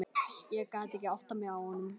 Ég gat ekki áttað mig á honum.